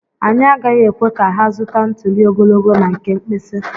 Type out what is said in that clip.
Anyị agaghị ekwe ka ha zụta ntuli ogologo na nke mkpịsị.